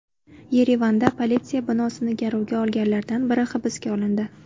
Yerevanda politsiya binosini garovga olganlardan biri hibsga olindi.